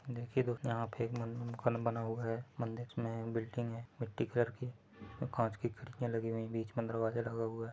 देखिए दोस्तो यहाँ पे एक मन-- मकान बना हुआ है मंदिर मे बिल्डिंग है मिट्टी कलर की और कांच की खिड़कियां लगी हुई है बीच मे दरवाजा लगा हुआ है।